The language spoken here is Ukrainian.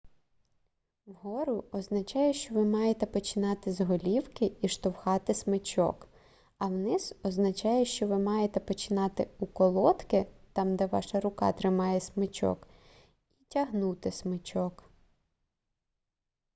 вгору означає що ви маєте починати з голівки і штовхати смичок а вниз означає що ви маєте починати у колодки там де ваша рука тримає смичок і тягнути смичок